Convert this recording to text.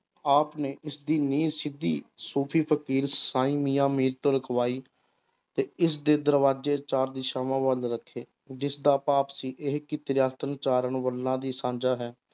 ਆਪ ਨੇ ਇਸਦੀ ਨੀਂਹ ਸਿੱਧੀ ਸੂਫ਼ੀ ਫ਼ਕੀਰ ਸਾਈਂ ਮੀਆਂ ਮੀਰ ਤੋਂ ਰਖਵਾਈ ਤੇ ਇਸਦੇ ਦਰਵਾਜੇ ਚਾਰ ਦਿਸ਼ਾਵਾਂ ਵੱਲ ਰੱਖੇ, ਜਿਸਦਾ ਭਾਵ ਸੀ ਇਹ ਕਿ ਸਾਂਝਾ ਹੈ।